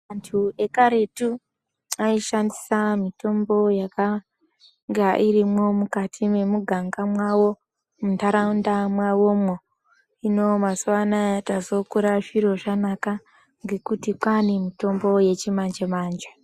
Antu ekaretu aishandisa mutombo yakanga irimwo mukati mwemuganga mwawo muntaraunda mwawomwo. Hino mazuwa ano tazokura zviro zvanaka ngekuti kwaane mutombo yechimanje manje.